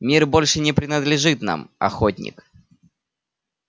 мир больше не принадлежит нам охотник